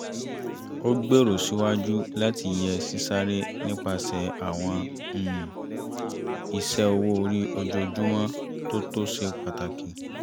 ó gbèrò síwájú láti yẹ sísáré nípasẹ̀ àwọn um iṣẹ́ owó orí ojoojumọ́ tó tó ṣe pàtàkì